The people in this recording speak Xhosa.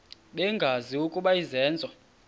bengazi ukuba izenzo